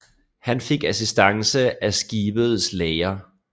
Han fik assistance af skibets læger